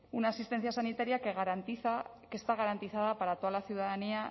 una asistencia sanitaria que garantiza que está garantizada para toda la ciudadanía